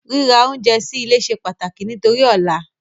Ríra oúnjẹ sí ilé se pàtàkì nítorí ọ̀la